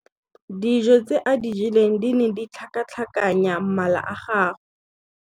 Dijô tse a di jeleng di ne di tlhakatlhakanya mala a gagwe.